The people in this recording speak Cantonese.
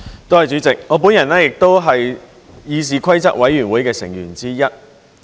代理主席，我本人也是議事規則委員會成員之一。